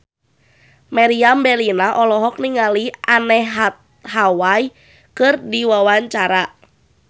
Meriam Bellina olohok ningali Anne Hathaway keur diwawancara